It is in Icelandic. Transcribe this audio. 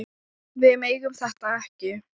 Við megum þetta ekki!